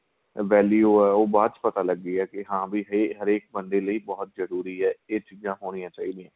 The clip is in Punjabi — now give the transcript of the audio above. value ਆਂ ਉਹ ਬਾਅਦ ਚ ਪਤਾ ਲੱਗੀ ਆਂ ਕੀ ਹਾਂ ਵੀ ਹਰੇਕ ਬੰਦੇ ਲਈ ਬਹੁਤ ਜਰੂਰੀ ਆਂ ਏ ਚੀਜਾਂ ਹੋਣੀਆਂ ਚਾਹੀਦੀਆਂ ਏ